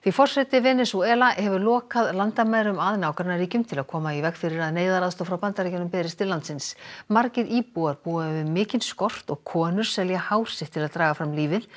forseti Venesúela hefur lokað landamærum að nágrannaríkjum til að koma í veg fyrir að neyðaraðstoð frá Bandaríkjunum berist til landsins margir íbúar búa við mikinn skort og konur selja hár sitt til að draga fram lífið